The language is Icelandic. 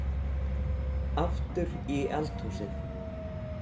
Aftur í eldhúsið.